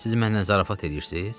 Siz mənlə zarafat eləyirsiz?